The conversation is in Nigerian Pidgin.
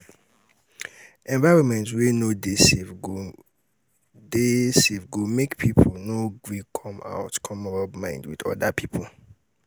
environment wey no de safe go de safe go make pipo no gree come out come rub mind with oda pipo